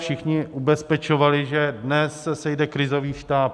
Všichni ubezpečovali, že dnes se sejde krizový štáb.